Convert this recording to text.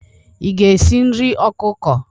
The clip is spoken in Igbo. Ị ga-esi nri ọkụkọ?